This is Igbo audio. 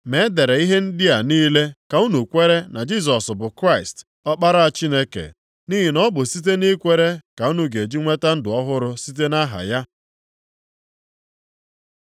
Ma e dere ihe ndị a niile ka unu kwere na Jisọs bụ Kraịst, Ọkpara Chineke. Nʼihi na ọ bụ site nʼikwere ka unu ga-eji nweta ndụ ọhụrụ site nʼaha ya.